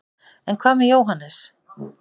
en hvað með jóhannes